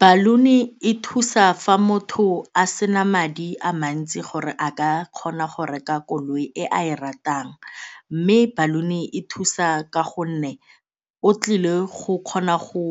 Baloon-e e thusa fa motho a sena madi a mantsi gore a ka kgona go reka koloi e a e ratang mme baloon-e e thusa ka gonne o tlile go kgona go